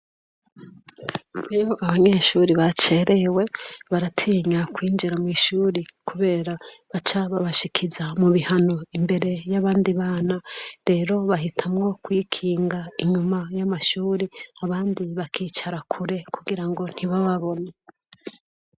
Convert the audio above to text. Iyo abanyeshure bacererewe baratinya kwinjira mwishure kubera baca babashikiza mubihano imbere yabandi bana rero bahitamwo kwikinga inyuma yamashure abandi bakicara kure kugirango ntibababone